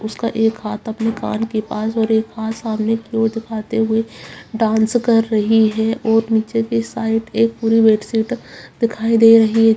उसके एक हाथ अपने कान के पास और एक हाथ सामने की ओर दिखाते हुए डांस कर रही है और नीचे के साइड एक फूल बेडशीट दिखाई दे रही हैं।